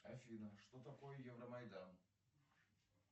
афина что такое евромайдан